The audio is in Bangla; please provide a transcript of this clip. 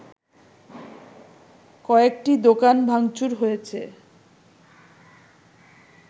কয়েকটি দোকান ভাংচুর হয়েছে